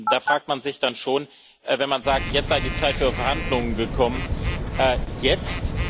Da fragt man sich dann schon, wenn man sagt, jetzt sei die Zeit für Verhandlungen gekommen Jetzt?